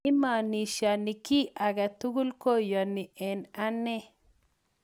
Imanishani ki age tugul kayanani eng' ane